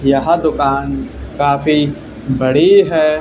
यह दुकान काफी बड़ी है।